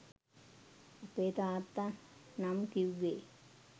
අපේ තාත්තා නම් කිවුවේ